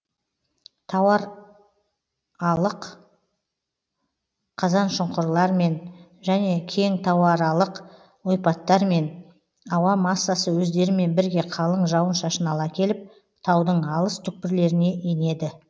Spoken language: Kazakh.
тауаралық қазаншұңқырлармен және кең тауаралық ойпаттармен ауа массасы өздерімен бірге қалың жауын шашын ала келіп таудың алыс түкпірлеріне енеді